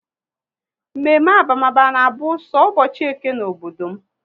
Mme mme abamaba na abụ so ụbọchị Eke n'obodo m